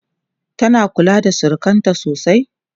tana kula da surukanta sosai?